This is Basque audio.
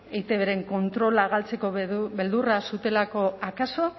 eitbren kontrola galtzeko beldurra zutelako akaso